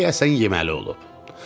deyəsən yeməli olub.